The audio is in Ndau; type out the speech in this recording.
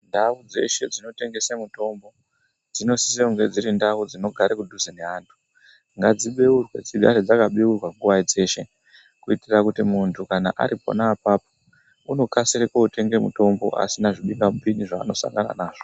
Ndau dzeshe dzinotengese mitombo dzinosise kunge dziri ndau dzinogara kudhuze neantu. Ngadzibeurwe dzigare dzakabeurwa nguwa dzeshe kuitira munhu ari pona apapo unokasire kootenga mitombo asina zvibingamupini zvaanosangana nazvo.